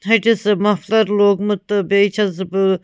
.ۂٹِس امفلرلوگمُت تہٕ بیٚیہِ چھٮ۪س بہٕ